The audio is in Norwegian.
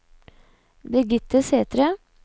Birgitte Sæthre